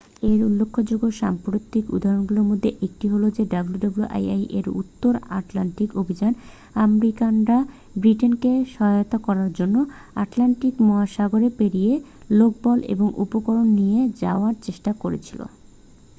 এর উল্লেখযোগ্য সাম্প্রতিক উদাহরণগুলির মধ্যে একটি হ'ল wwii এর উত্তর আটলান্টিক অভিযান আমেরিকানরা ব্রিটেনকে সহায়তা করার জন্য আটলান্টিক মহাসাগর পেরিয়ে লোকবল ও উপকরণ নিয়ে যাওয়ার চেষ্টা করছিল